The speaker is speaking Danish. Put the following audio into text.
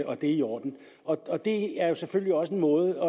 og at det er i orden det er selvfølgelig også en måde